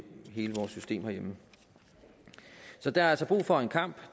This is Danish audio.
hele vores system herhjemme så der er altså brug for en kamp